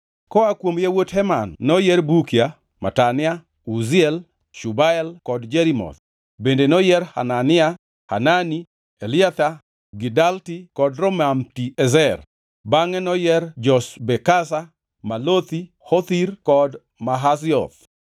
Koa kuom yawuot Heman noyier: Bukia, Matania, Uziel, Shubael kod Jerimoth, bende noyier Hanania, Hanani, Eliatha, Gidalti kod Romamti-Ezer, bangʼe noyier Joshbekasha, Malothi, Hothir, kod Mahazioth.